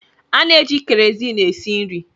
Ana-eji keroziin esi nri.